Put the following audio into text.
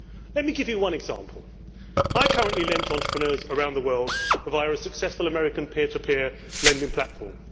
Let me give you one example. I currently lend to entrepreneurs around the world via a successful American peer to peer lending platform.